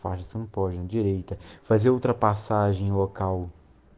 пальцем позже деревьев фозил тропа сажнева к у